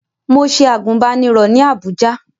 Mo ṣe àgùnbánirọ̀ ní Àbújá